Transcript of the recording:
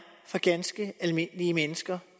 for ganske almindelige mennesker